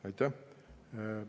Aitäh!